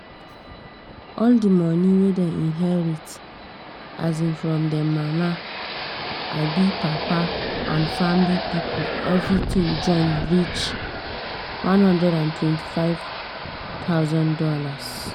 all the money wey dem inherit um from um mama um papa and family people everything join reach $125000